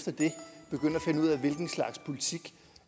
hvilken slags politik